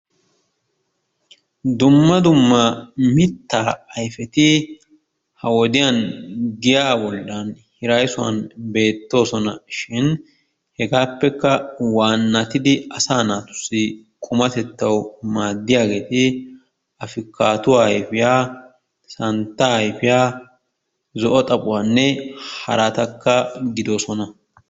Dumma dumma mittaa ayfeti ha'i wodiyaan giyaa bollaan hirayssuwaan beettoosona. Shin Hegetuppekka waannatidi asaa naatussi qumatettawu maaddiyaagee afikaaduwaa ayfiyaa santtaa ayfiyaa zo"o xaaphuwaanne haratakka gidoosona.